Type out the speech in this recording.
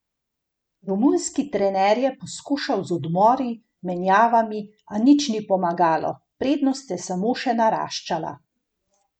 Romunski trener je poskušal z odmori, menjavami, a nič ni pomagalo, prednost je samo še naraščala.